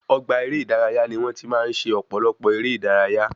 Ọgbà eré ìdárayá ni wọn tí máa ń ṣe ọpọlọpọ èrè ìdárayá